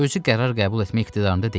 Özü qərar qəbul etmək iqtidarında deyil.